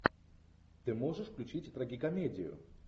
ты можешь включить трагикомедию